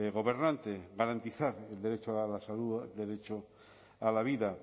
gobernante garantizar el derecho a la salud el derecho a la vida